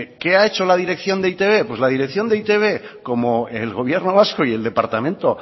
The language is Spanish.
qué ha hecho la dirección de e i te be pues la dirección de e i te be como el gobierno vasco y el departamento